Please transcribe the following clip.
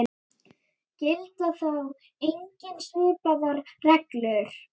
Gilda þá einnig svipaðar reglur.